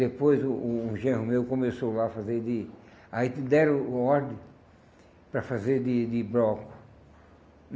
Depois o um genro meu começou lá a fazer de... Aí que deram uma ordem para fazer de de broco.